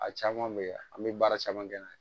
A caman bɛ ye an bɛ baara caman kɛ